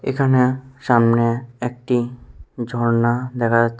এখানে সামনে একটি ঝর্না দেখা যাচ্ছে।